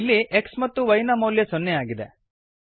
ಇಲ್ಲಿ x ಮತ್ತು y ನ ಮೌಲ್ಯ ಸೊನ್ನೆಯಾಗಿದೆ